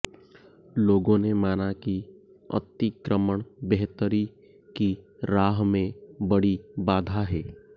लोगों ने माना कि अतिक्रमण बेहतरी की राह में बड़ी बाधा है